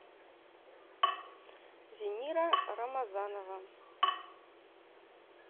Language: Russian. зинира рамазанова